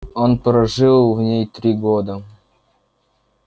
он прожил в ней три года